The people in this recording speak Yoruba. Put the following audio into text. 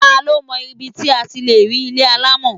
Ta ló mọ ibi tí a ti lè rí ilé alámọ̀?